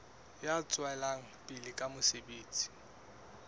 ya tswelang pele ka mosebetsi